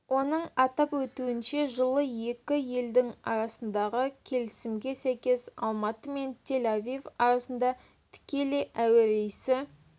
оның атап өтуінше жылы екі елдің арасындағы келісімге сәйкес алматы мен тель-авив арасында тікелей әуе рейсі